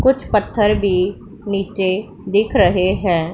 कुछ पत्थर भी नीचे दिख रहे हैं।